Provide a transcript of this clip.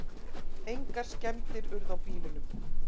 Engar skemmdir urðu á bílunum